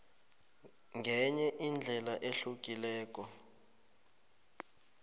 ngenye indlela ehlukileko